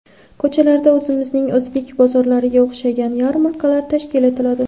Ko‘chalarda o‘zimizning o‘zbek bozorlariga o‘xshagan yarmarkalar tashkil etiladi.